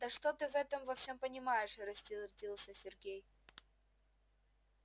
да что ты в этом во всём понимаешь рассердился сергей